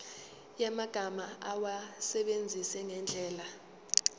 yamagama awasebenzise ngendlela